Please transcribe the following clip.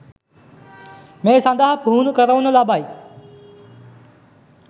මේ සඳහා පුහුණු කරවනු ලබයි